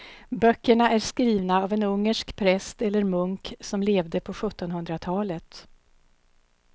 Böckerna är skrivna av en ungersk präst eller munk som levde på sjuttonhundratalet.